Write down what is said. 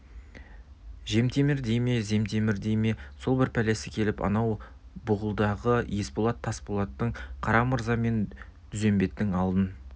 жемтемір дей ме земтемір дей ме сол бір пәлесі келіп анау бұғылыдағы есболат тасболаттың қарамырза мен дүзембеттің алдын